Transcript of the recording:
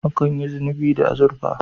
Akan yi zobe da azurfa